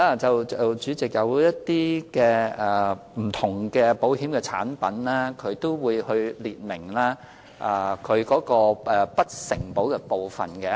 主席，當然，不同的保險產品會列明不承保的事項。